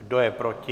Kdo je proti?